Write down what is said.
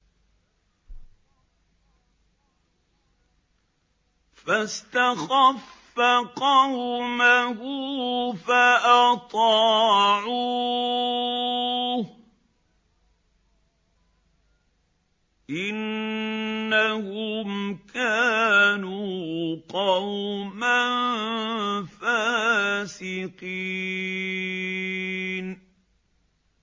فَاسْتَخَفَّ قَوْمَهُ فَأَطَاعُوهُ ۚ إِنَّهُمْ كَانُوا قَوْمًا فَاسِقِينَ